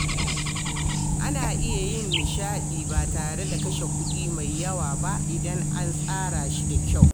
Ana iya yin nishaɗi ba tare da kashe kuɗi mai yawa ba idan an tsara shi da kyau.